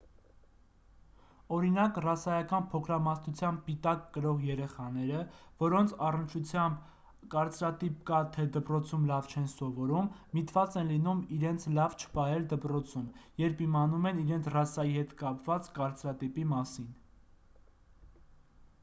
օրինակ ռասայական փոքրամասնության պիտակ կրող երեխաները որոնց առնչությամբ կարծրատիպ կա թե դպրոցում լավ չեն սովորում միտված են լինում իրենց լավ չպահել դպրոցում երբ իմանում են իրենց ռասայի հետ կապված կարծրատիպի մասին